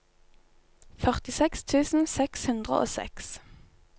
førtiseks tusen seks hundre og seks